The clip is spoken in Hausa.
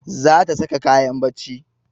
Za ta saka kayan barci